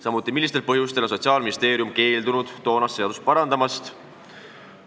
Samuti, millistel põhjustel on Sotsiaalministeerium keeldunud toonast seadust parandamast?